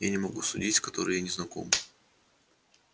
я не могу судить с которой я не знаком